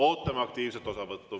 Ootame aktiivset osavõttu.